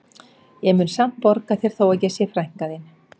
Ég mundi samt borga þér þó að ég sé frænka þín